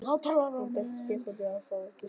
Hann benti Stefáni á að fá sér á diskinn.